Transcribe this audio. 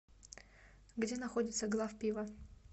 где находится главпиво